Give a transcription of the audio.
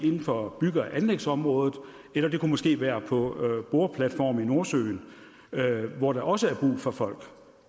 inden for bygge og anlægsområdet eller måske være på boreplatforme i nordsøen hvor der også er brug for folk